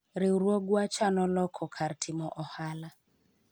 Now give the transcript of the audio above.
riwruogwa chano loko kar timo ohala